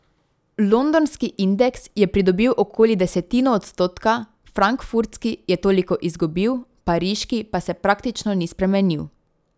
Londonski indeks je pridobil okoli desetino odstotka, frankfurtski je toliko izgubil, pariški pa se praktično ni spremenil.